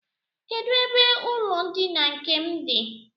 Kedụ ebe ụlọndina nke m dị?